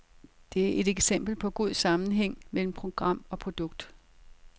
Det er et eksempel på god sammenhæng mellem program og produkt.